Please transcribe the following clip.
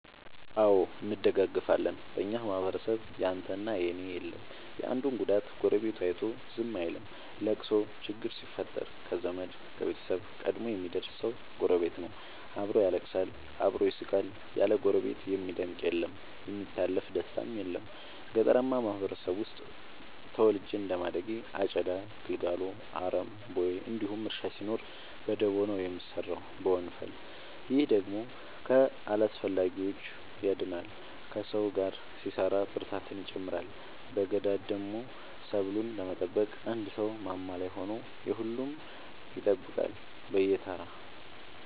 አዎ እንደጋገፋለን በኛ ማህበረሰብ ያንተ እና የኔ የለም የአንዱን ጉዳት ጎረቤቱ አይቶ ዝም አይልም። ለቅሶ ችግር ሲፈጠር ከዘመድ ከቤተሰብ ቀድሞ የሚደር ሰው ጎረቤት ነው። አብሮ ያለቅሳል አብሮ ይስቃል ያለ ጎረቤት የሚደምቅ አለም የሚታለፍ ደስታም የለም። ገጠርአማ ማህበረሰብ ውስጥ ተወልጄ እንደማደጌ አጨዳ ጉልጎሎ አረም ቦይ እንዲሁም እርሻ ሲኖር በደቦ ነው የሚሰራው በወንፈል። ይህ ደግሞ ከአላስፈላጊዎቺ ያድናል ከሰው ጋር ሲሰራ ብርታትን ይጨምራል። በገዳደሞ ሰብሉን ለመጠበቅ አንድ ሰው ማማ ላይ ሆኖ የሁሉም ይጠብቃል በየተራ።